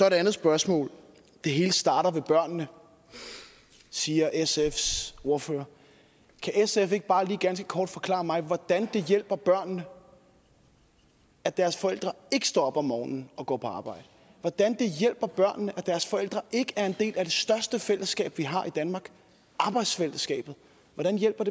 et andet spørgsmål det hele starter ved børnene siger sfs ordfører kan sf ikke bare lige ganske kort forklare mig hvordan det hjælper børnene at deres forældre ikke står op om morgenen og går på arbejde hvordan det hjælper børnene at deres forældre ikke er en del af det største fællesskab vi har i danmark arbejdsfællesskabet hvordan hjælper